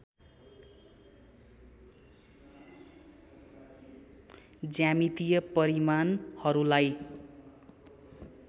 ज्यामितीय परिमाणहरूलाई